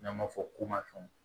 N'an b'a fɔ komafɛnw